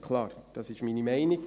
Klar, dies ist meine Meinung.